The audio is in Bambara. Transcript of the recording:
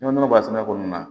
N'i ko nɔnɔ b'a sɛnɛ ko nin na